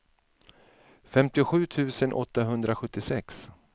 femtiosju tusen åttahundrasjuttiosex